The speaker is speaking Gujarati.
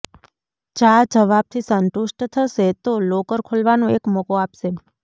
જા જવાબથી સંતુષ્ટ થશે તો લોકર ખોલવાનો એક મોકો આપશે